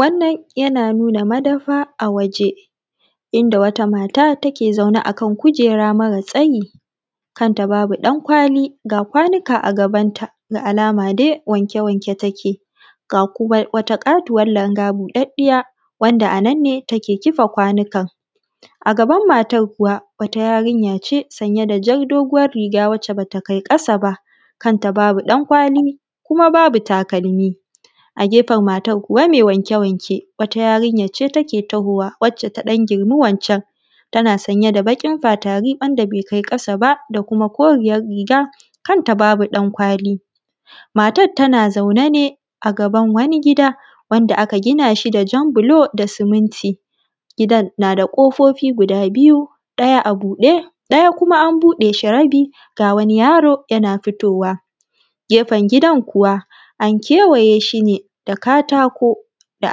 Wannan yana nuna madafa a waje. Inda wata mata take zaune a kan kujera mara tsayi, kanta babu ɗankwali, ga kwanuka a gaban ta, da alama dai wanke-wanke take. Ga kuma wata ƙatuwar langa buɗaɗiya wanda a nan ne, take kifa kwanukan. A gabar matan kuwa wata yarinya ce sanye da jar doguwar riga wacce ba ta kai ƙasa ba, kanta babu ɗan kwali, kuma babu takalmi. A gefen matan kuwa mai wanke-wanke wata yarinya ce take tahowa wacce ta ɗan girmi wancan tana sanye da baƙin fatari, wanda bai kai ƙasa ba da kuma koriyar riga. Kanta babu ɗan kwali. Matan tana zaune ne a gaban wani gida wanda aka gina shi da jan bulo da siminti. Gidan na da ƙofofi guda biyu ɗaya a buɗe, ɗaya kuma an buɗe shi rabi ga wani yaro yana fitowa. Gefen gidan kuwa an kewaye shi ne da katako, da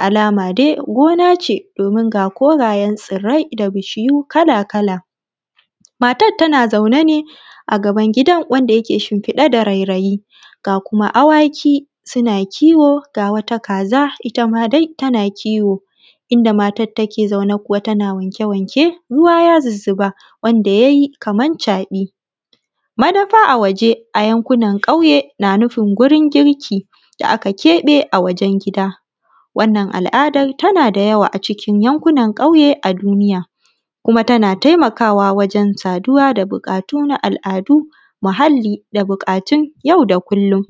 alama dai gona ce, domin ga dogayen tsirrai da bishiyu kala-kala. Matan tana zaune ne, a gaban gidan wanda yake shinfiɗe da rairayi. Ga kuma awaki suna kiwo, ga wata kaza ita ma dai tana kiwo. Inda matan take zaune kuwa tana wanke-wanke, ruwa ya zuzzuba wanda ya yi kamar caɓi. Madafa a waje a yankunan ƙauye na nufin gurin girki, da aka keɓe a wajen gida. Wannan al'adar tana da yawa a cikin yankunan ƙauye a duniya. Kuma tana taimakawa wajen saduwa da buƙatu na al'adu, muhalli da buƙatu na yau da kullum.